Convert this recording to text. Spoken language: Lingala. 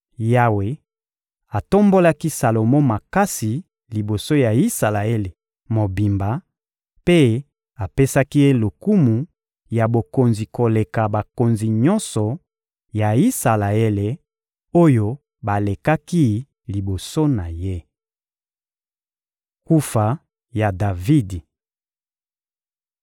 Yawe atombolaki Salomo makasi liboso ya Isalaele mobimba, mpe apesaki ye lokumu ya bokonzi koleka bakonzi nyonso ya Isalaele oyo balekaki liboso na ye. Kufa ya Davidi (1Ba 2.10-12)